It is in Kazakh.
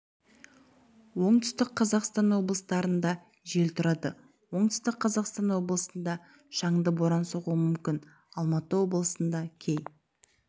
оңтүстік қазақстан облыстарында жел тұрады оңтүстік қазақстан облысында шаңды боран соғуы мүмкін алматы облысында кей